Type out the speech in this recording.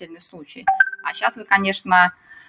отдельный случай а сейчас вы конечно